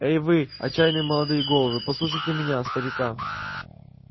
эй вы отчаянные молодые головы послушайте меня старика